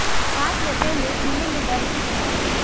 सांस लेते हुए सीने में दर्द की शिकायत